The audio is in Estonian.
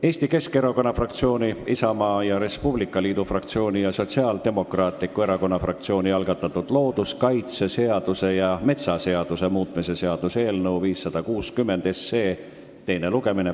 Eesti Keskerakonna fraktsiooni, Isamaa ja Res Publica Liidu fraktsiooni ja Sotsiaaldemokraatliku Erakonna fraktsiooni algatatud looduskaitseseaduse ja metsaseaduse muutmise seaduse eelnõu 560 teine lugemine.